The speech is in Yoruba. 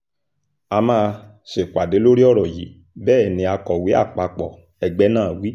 a máa ṣèpàdé lórí ọ̀rọ̀ yìí bẹ́ẹ̀ ni akọ̀wé àpapọ̀ ẹgbẹ́ náà wí